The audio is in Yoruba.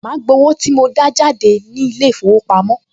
Màá gbowó tí mo dá jáde ní ilé-ìfowópamọ́